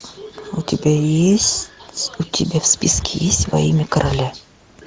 у тебя есть у тебя в списке есть во имя короля